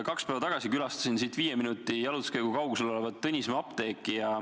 Kaks päeva tagasi külastasin siit viie minuti pikkuse jalutuskäigu kaugusel olevat Tõnismäe apteeki.